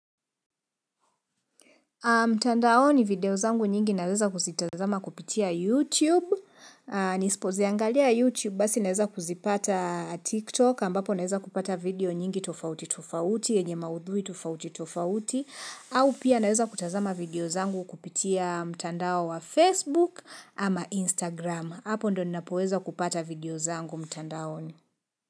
Mtandaoni video zangu nyingi naweza kuzitazama kupitia YouTube, nisipoziangalia YouTube basi naweza kuzipata TikTok ambapo naweza kupata video nyingi tofauti tofauti, enye maudhui tofauti tofauti, au pia naweza kutazama video zangu kupitia mtandao wa Facebook ama Instagram, hapo ndio ninapoweza kupata video zangu mtandaoni.